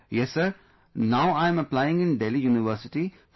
Yes Sir, now, I am applying in Delhi University for my